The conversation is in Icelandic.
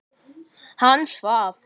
Hann svaf.